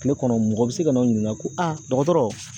Kile kɔnɔ mɔgɔ bi se ka n'aw ɲininka ko dɔgɔtɔrɔ